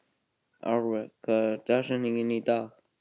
Árveig, hver er dagsetningin í dag?